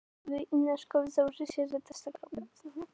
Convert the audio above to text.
Þeir hafa neitað þessu og nú hef ég neitað þessu.